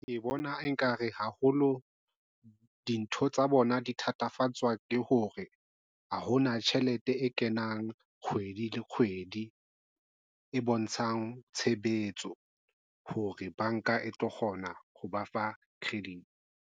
Ke bona ekare haholo dintho tsa bona di thatafatswa ke hore ha hona tjhelete e kenang kgwedi le kgwedi e bontshang tshebetso hore banka e tlo kgona ho ba fa credit.